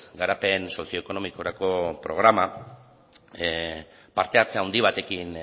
garapen sozioekonomikorako programa parte hartze handi batekin